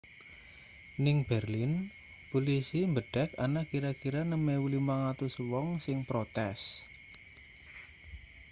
ning berlin pulisi mbedek ana kira-kira 6.500 wong sing protes